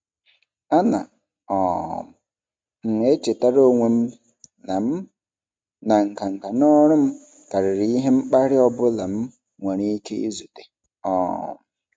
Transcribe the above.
Ana um m echetara onwe m na m na nganga n'ọrụ m karịrị ihe mkparị ọ bụla m nwere ike izute. um